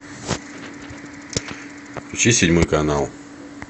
включи седьмой канал